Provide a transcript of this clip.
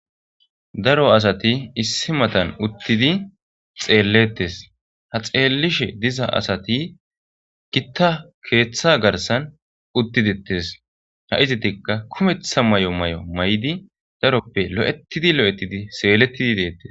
daro asati issi matan uttidi xeellettes ha xeellishe diza asati gitta keeththa garsan uttidettes ha izitikka kumetha may7o may7o may7di daroppe lo7etidi lo7ettidi seelettidi deettes